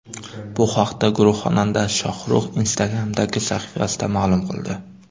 Bu haqda guruh xonandasi Shohrux Instagram’dagi sahifasida ma’lum qildi.